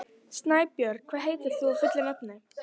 Snæbjörn, hvað heitir þú fullu nafni?